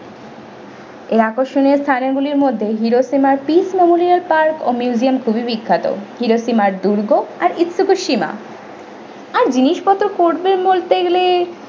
এর আকর্ষণীয় স্থানগুলির মধ্যে hiroshima এর peek memorial park ও museum খুবই বিখ্যাত hiroshima এর দুর্গ আর istukisima আর জিনিসপত্র করবেন বলতে গেলে।